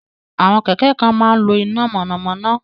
Àwọn kẹ̀kẹ́ kan máa ń lo iná mọ̀nàmọ́ná